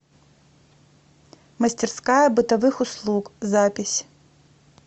мастерская бытовых услуг запись